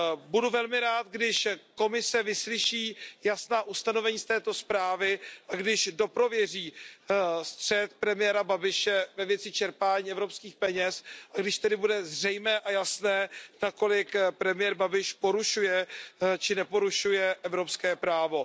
Budu velmi rád, když Komise vyslyší jasná ustanovení této zprávy a když dokončí prověřování střetu premiéra Babiše ve věci čerpání evropských peněz, aby tedy bylo zřejmé a jasné, nakolik premiér Babiš porušuje či neporušuje evropské právo.